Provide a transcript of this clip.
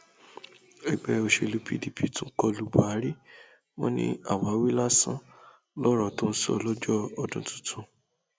ẹgbẹ òsèlú pdp tún kọ lu buhari wọn ní àwáwí lásán lọrọ tó sọ lọjọ ọdún tuntun